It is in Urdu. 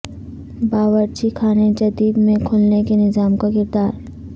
باورچی خانے جدید میں کھلنے کے نظام کا کردار